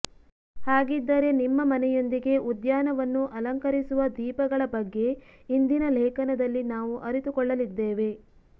ಹಾಗಿದ್ದರೆ ನಿಮ್ಮ ಮನೆಯೊಂದಿಗೆ ಉದ್ಯಾನವನ್ನು ಅಲಂಕರಿಸುವ ದೀಪಗಳ ಬಗ್ಗೆ ಇಂದಿನ ಲೇಖನದಲ್ಲಿ ನಾವು ಅರಿತುಕೊಳ್ಳಲಿದ್ದೇವೆ